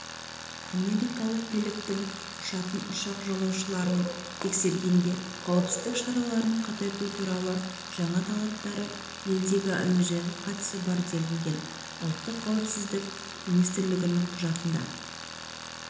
америкалық биліктің ұшатын ұшақ жолаушыларын тексергенде қауіпсіздік шараларын қатайту туралы жаңа талаптары елдегі әуежайға қатысы бар делінген ұлттық қауіпсіздік министрлігінің құжатына